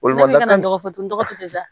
Olu nana dɔgɔ to sa